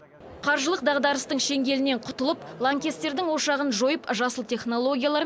қаржылық дағдарыстың шеңгелінен құтылып лаңкестердің ошағын жойып жасыл технологиялар